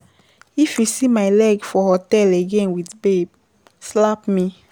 If you see my leg for hotel again with babe slap me.